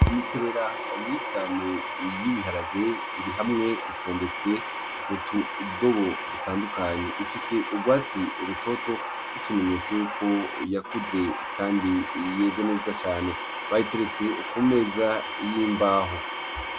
Imikerera myinshi cane y'ibiharage irihamwe itondetse utudobo dutandukanye ifise urwatsi rutoto nk'ikimenyetso yuko yakuze kandi yeze neza cane bayiteretse ku meza y'imbaho.